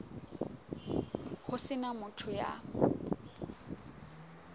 ho se na motho ya